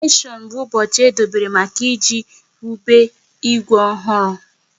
Koroneshon bụ ụbọchị e dobere maka iji wube Igwe ọhụrụ